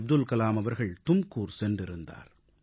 அப்துல்கலாம் அவர்கள் தும்கூர் சென்றிருந்தார்